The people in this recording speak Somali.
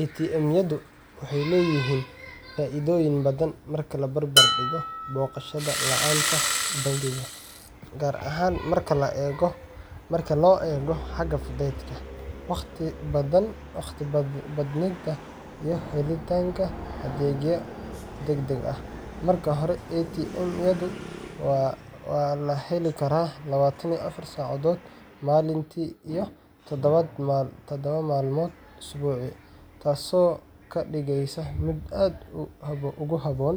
ATM-yadu waxay leeyihiin faa’iidooyin badan marka la barbar dhigo booqashada laanta bangiga, gaar ahaan marka loo eego xagga fudaydka, waqti badbaadinta, iyo helitaanka adeegyo degdeg ah. Marka hore, ATM-yadu waa la heli karaa labatan iyo afar saacadood maalintii iyo todoba maalmood usbuucii, taasoo ka dhigaysa mid aad ugu habboon